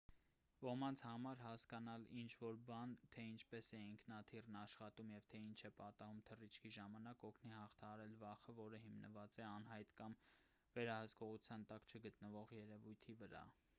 ոմանց համար հասկանալ ինչ-որ բան թե ինչպես է ինքնաթիռն աշխատում և թե ինչ է պատահում թռիչքի ժամանակ կօգնի հաղթահարել վախը որը հիմնված է անհայտ կամ վերահսկողության տակ չգտնվող երևույթի վրա